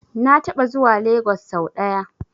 Na taɓa zuwa Lagos sau ɗaya.